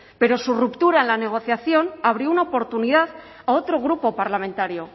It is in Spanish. pero su ruptura en la negociación abría una oportunidad a otro grupo parlamentario